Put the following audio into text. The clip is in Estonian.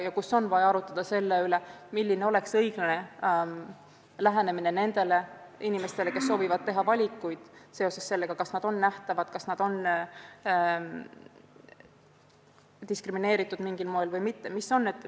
Nüüd oleks vaja otsustada, milline oleks õiglane lähenemine nendele inimestele, kes soovivad teha valikuid: kas nad on nähtavad, kas nad on mingil moel diskrimineeritud.